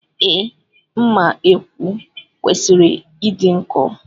Ee, mma ekwu kwesịrị ịdị nkọ